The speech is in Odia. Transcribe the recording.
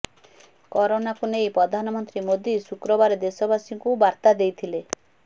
କରୋନାକୁ ନେଇ ପ୍ରଧାନମନ୍ତ୍ରୀ ମୋଦୀ ଶୁକ୍ରବାର ଦେଶବାସୀଙ୍କୁ ବାର୍ତ୍ତା ଦେଇଥିଲେ